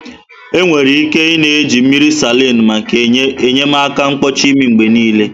Enwere ike ị-na eji mmiri salin maka enyemaka mkpọchị imi mgbe niile.